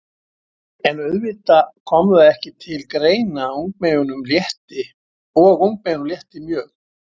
En auðvitað kom það ekki til greina og ungmeyjunum létti mjög.